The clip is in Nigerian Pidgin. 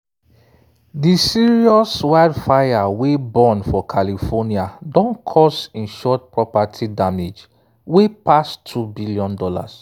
di serious wildfire wey burn for california don cause insured property damage wey pass $2 billion